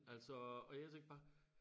Altså og jeg tænkte bare